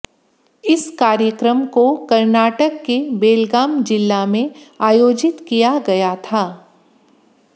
इस कार्यक्रम कर्नाटक के बेल्गाम जिल्ला में आयोजित किया गया था